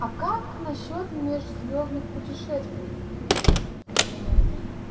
а как насчёт межзвёздных путешествий